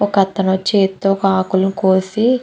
ఒక అతను చేత్తో ఒక ఆకులను కోసి--